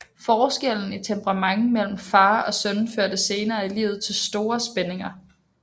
Forskellen i temperament mellem far og søn førte senere i livet til store spændinger